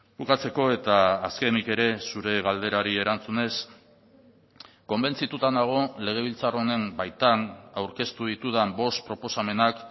bukatzeko eta azkenik ere zure galderari erantzunez konbentzituta nago legebiltzar honen baitan aurkeztu ditudan bost proposamenak